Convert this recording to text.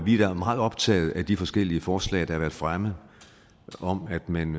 vi er meget optaget af de forskellige forslag der har været fremme om at man